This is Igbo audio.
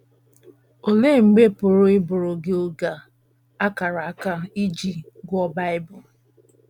Olee mgbe pụrụ ịbụrụ gị oge a a kara aka iji gụọ Bible?